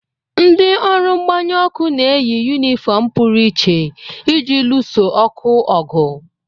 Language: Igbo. Ndị ọrụ mgbanyụ ọkụ ga-eyi yunifọọm pụrụ iche iji luso ọkụ ọgụ.